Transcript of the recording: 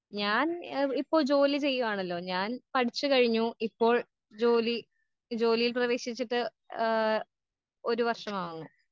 ഞാൻ ഇപ്പൊ ജോലി ചെയ്യുവാണല്ലൊ ഞാൻ പഠിച്ചു കഴിഞ്ഞു ഇപ്പോൾ ജോലി ജോലിയിൽ പ്രവേശിച്ചിട്ട് ആ ഒരു വർഷമാവുന്നു